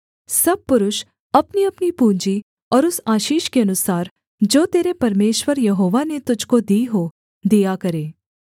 सब पुरुष अपनीअपनी पूँजी और उस आशीष के अनुसार जो तेरे परमेश्वर यहोवा ने तुझको दी हो दिया करें